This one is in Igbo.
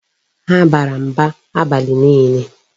Ha bara mba abalị niile.